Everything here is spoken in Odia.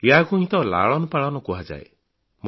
ଏହାକୁହିଁ ତ ଲାଳନପାଳନ କୁହାଯାଏ